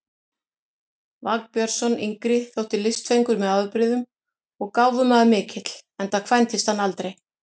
Vagn Björnsson yngri þótti listfengur með afbrigðum og gáfumaður mikill, enda kvæntist hann aldrei.